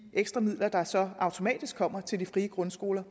ekstra midler der så automatisk kommer til de frie grundskoler